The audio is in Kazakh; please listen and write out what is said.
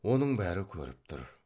оның бәрі көріп тұр